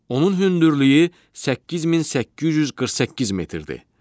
Onun hündürlüyü 8848 metrdir.